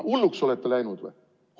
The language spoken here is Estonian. Hulluks olete läinud või?